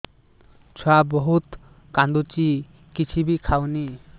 ଛୁଆ ବହୁତ୍ କାନ୍ଦୁଚି କିଛିବି ଖାଉନି